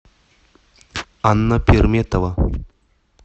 анна перметова